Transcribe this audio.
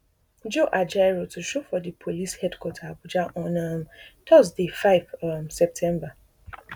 joe ajaero to show for di police headquarter abuja on um thursday five um september